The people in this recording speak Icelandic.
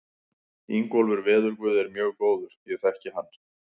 Ingólfur veðurguð er mjög góður, ég þekki hann.